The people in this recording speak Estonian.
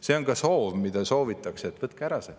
See on ka soov, mida me soovime, et võtku see ära.